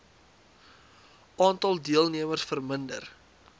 aantal deelnemers verminder